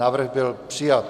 Návrh byl přijat.